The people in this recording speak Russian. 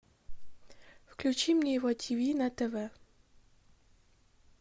включи мне его тв на тв